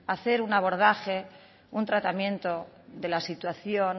hacer un abordaje un tratamiento de la situación